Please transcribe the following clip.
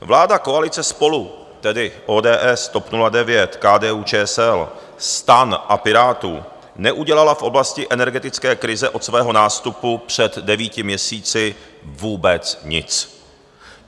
Vláda koalice SPOLU - tedy ODS, TOP 09, KDU-ČSL, STAN a Pirátů - neudělala v oblasti energetické krize od svého nástupu před devíti měsíci vůbec nic.